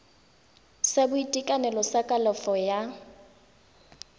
sa boitekanelo sa kalafo ya